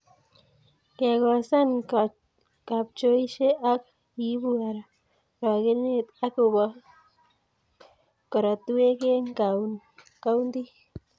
Kekosan kapchoisye ko ibuu arogenee ak kobo korotwek eng kauntit.